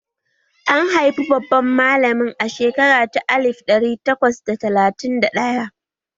An haifi babban malamin a shekara ta alif ɗari takwas da talatin da ɗaya